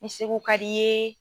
Segu ka d'i ye.